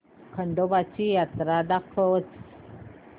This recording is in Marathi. खंडोबा ची जत्रा दाखवच